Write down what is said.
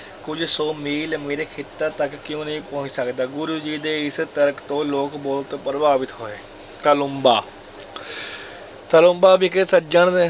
ਕੁਝ ਸੌ ਮੀਲ ਮੇਰੇ ਖੇਤਾਂ ਤੱਕ ਕਿਉਂ ਨਹੀਂ ਪਹੁੰਚ ਸਕਦਾ, ਗੁਰੂ ਜੀ ਦੇ ਇਸ ਤਰਕ ਤੋਂ ਲੋਕ ਬਹੁਤ ਪ੍ਰਭਾਵਿਤ ਹੋਏ, ਤਾਲੂੰਬਾ ਤਾਲੂੰਬਾ ਵਿਖੇ ਸੱਜਣ